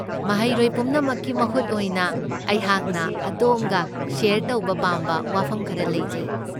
ꯃꯍꯩꯔꯣꯏ ꯄꯨꯝꯅꯃꯛꯀꯤ ꯃꯍꯨꯠ ꯑꯣꯏꯅ, ꯑꯩꯍꯥꯛꯅ ꯑꯗꯣꯝꯒ ꯁꯦꯌꯔ ꯇꯧꯕ ꯄꯥꯝꯕ ꯋꯥꯐꯝ ꯈꯔ ꯂꯩꯖꯩ꯫